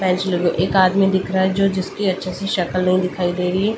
एक आदमी दिख रहा है जो जिसकी अच्छी सी शक्ल नहीं दिखाई दे रही है ।